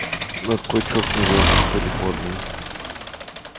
на кой чёрт мне волк в калифорнии